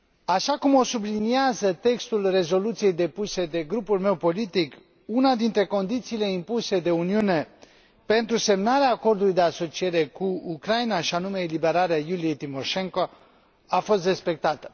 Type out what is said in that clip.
Așa cum o subliniază textul rezoluției depuse de grupul meu politic, una dintre condițiile impuse de Uniune pentru semnarea Acordului de asociere cu Ucraina, și anume eliberarea Iuliei Timoshenko, a fost respectată.